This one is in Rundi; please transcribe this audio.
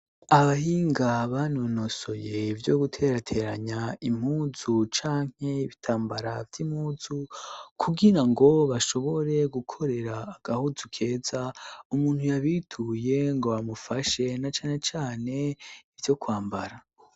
Abahinga banonosoye ivyo guterateranya impuzu canke ibitambara vy' impuzu, kugirango bashobore gukorera agahuzu keza umuntu yabituye ngo bamufashe, na cane cane ivyo kwambara.